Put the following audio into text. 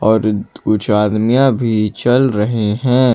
और कुछ आदमीया भी चल रहे हैं।